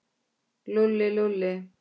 Lúlli, Lúlli.